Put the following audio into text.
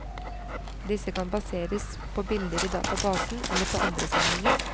Disse kan baseres på bilder i databasen, eller på andre samlinger.